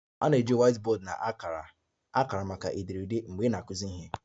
A na-eji whiteboard na akara akara maka ederede ederede mgbe ị na-akụzi ihe